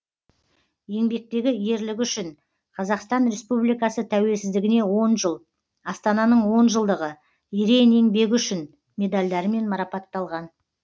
еңбектегі ерлігі үшін қр тәуелсіз дігіне он жыл астананың он жылдығы ерен еңбегі үшін медальдарымен марапатталған